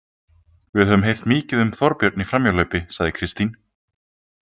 Við höfum heyrt mikið um Þorbjörn í framhjáhlaupi, sagði Kristín.